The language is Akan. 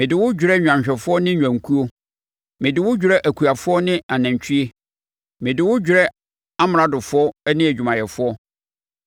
mede wo dwerɛ nnwanhwɛfoɔ ne nnwankuo, mede wo dwerɛ akuafoɔ ne anantwie, mede wo dwerɛ amradofoɔ ne adwumayɛfoɔ.